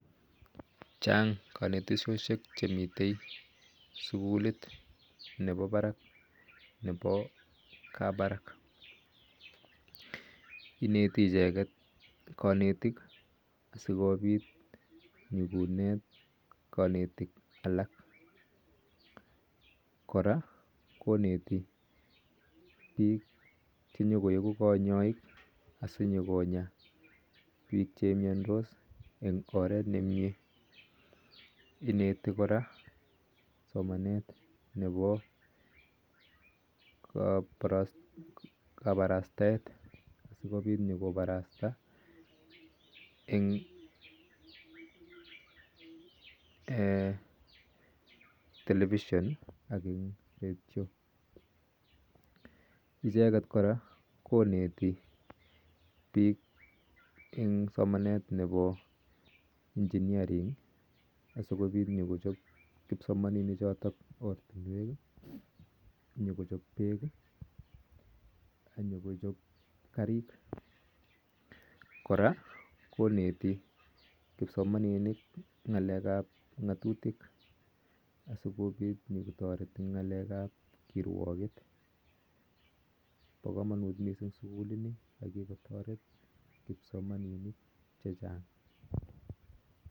Chaang kanetoshhisheek nepo kabarak inetii icheket kanetiik sikopiit kopwaaa nikoneet ichekeet kanetik inetii koraa somaneet nepo kabarastaeet sikopit nikoparastaa eng telepisheen ak ngaleek ap peek ak tuguun chchaang ak ngaleek ap ngatutik ak kikotareet kipsomaniniik chachang